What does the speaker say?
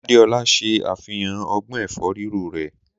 Adéolá ṣe àfihàn ọgbọ́n ẹ̀fọ́ Ríro rẹ̀.